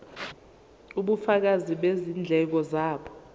ubufakazi bezindleko zabo